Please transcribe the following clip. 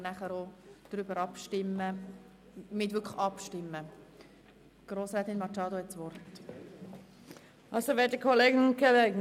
Über sämtliche bestrittenen Anträge werden wir anschliessen auch abstimmen.